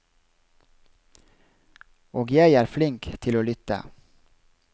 Og jeg er flink til å lytte.